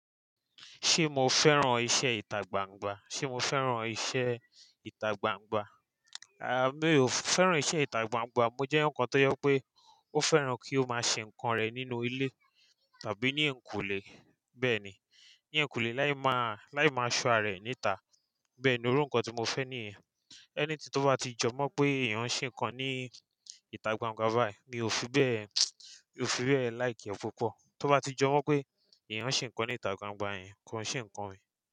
Ṣé mo fẹ́ràn iṣẹ́ ìtagbangba? Ṣé mo fẹ́ràn iṣẹ́ ìtagbangba? A, mi ò fẹ́ràn iṣẹ́ ìtagbangba. Mo jẹ́ ǹkan tó yọ pé ó fẹ́ràn kí ó máa ṣe ǹkan rẹ̀ nínú ilé tàbí ní ẹ̀kùlé. Bẹ́ẹ̀ ni, ní ẹ̀kùlé láì máa, láì máa ṣọ́ ààrẹ níta. Bẹ́ẹ̀ ni íru nkán tí mo fẹ́ ní ẹ̀. Ẹni tí tó bá ti jọ mọ̀ pé ìyẹn ń ṣe ǹkan ní ìtagbangba báyìí, mi ò fi bẹ́ẹ̀, mi ò fi bẹ́ẹ̀ like ẹ́ púpọ̀. Tó bá ti jọ mọ̀ pé ìyẹn ń ṣe ǹkan ní ìtagbangba yẹn, kí wọ́n ṣe ǹkan mi.